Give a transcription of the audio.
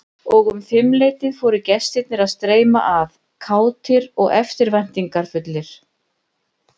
Og um fimmleytið fóru gestirnir að streyma að, kátir og eftirvæntingarfullir.